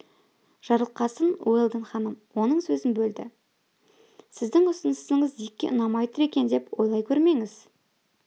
жарылқасын уэлдон ханым оның сөзін бөлді сіздің ұсынысыңыз дикке ұнамай тұр екен деп ойлай көрмеңіз